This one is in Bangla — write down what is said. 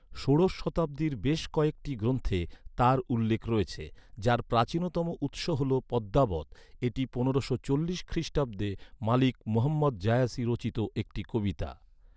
ষোড়শ শতাব্দীর বেশ কয়েকটি গ্রন্থে তার উল্লেখ রয়েছে, যার প্রাচীনতম উৎস হল পদ্মাবত, এটি পনেরোশো চল্লিশ খ্রিস্টাব্দে মালিক মুহাম্মদ জায়াসি রচিত একটি কবিতা।